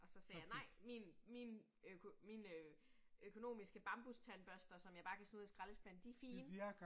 Og så sagde jeg nej, min min mine økonomiske bambustandbørster, som jeg bare kan smide ud i skraldespanden, de fine